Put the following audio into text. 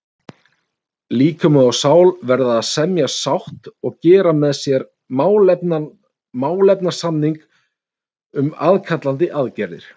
Líkami og sál verða að semja sátt og gera með sér málefnasamning um aðkallandi aðgerðir.